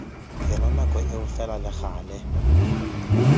yona nako eo fela legale